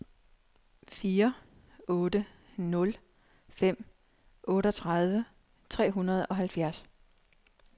fire otte nul fem otteogtredive tre hundrede og halvfjerds